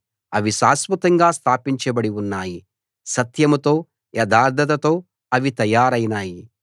అవి శాశ్వతంగా స్థాపించబడి ఉన్నాయి సత్యంతో యథార్థతతో అవి తయారైనాయి